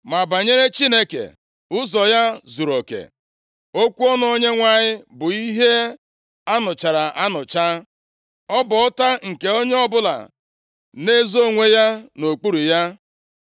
“Ma banyere Chineke, ụzọ ya zuruoke; okwu ọnụ Onyenwe anyị bụ ihe a nụchara anụcha. Ọ bụ ọta nke onye ọbụla na-ezo onwe ya nʼokpuru ya.